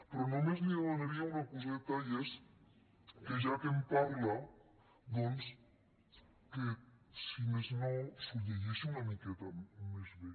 però només li demanaria una coseta i és que ja que en parla doncs que si més no s’ho llegeixi una miqueta més bé